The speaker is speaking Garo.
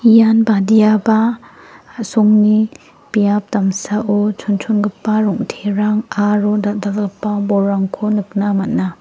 ian badiaba a·songni biap damsao chonchongipa rong·terang aro dal·dalgipa bolrangko nikna man·a.